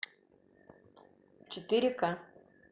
четыре ка